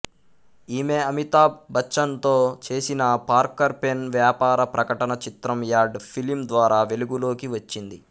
ఈమె అమితాబ్ బచ్చన్ తో చేసిన పార్కర్ పెన్ వ్యాపార ప్రకటన చిత్రం యాడ్ ఫిలిమ్ ద్వారా వెలుగులోకి వచ్చింది